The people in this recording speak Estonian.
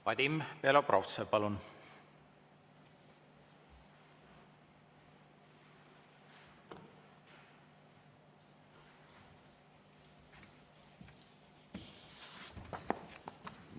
Vadim Belobrovtsev, palun!